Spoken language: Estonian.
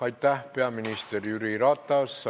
Aitäh, peaminister Jüri Ratas!